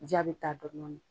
Ja bɛ taa dɔɔnnin dɔɔnin.